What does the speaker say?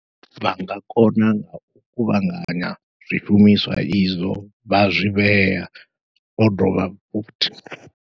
Vha nga kona ngau kuvhanganya zwishumiswa izwo vha zwi vhea, vho dovha fhuthi.